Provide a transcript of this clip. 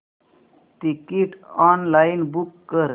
ticket online book कर